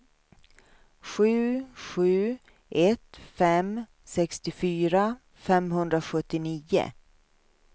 sju sju ett fem sextiofyra femhundrasjuttionio